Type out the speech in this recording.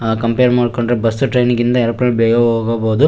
ಆ ಕಂಪೇರ್ ಮಾಡಿ ಕೊಂಡರೆ ಬಸ್ ಟ್ರೈನ್ ಗಿಂತ ಏರೋಪ್ಲೇನ್ ಬೇಗ ಹೋಗಬಹುದು.